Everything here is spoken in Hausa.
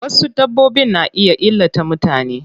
Wasu dabbbobin na iya illata mutane.